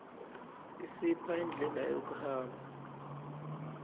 isipha indlela yokuhamba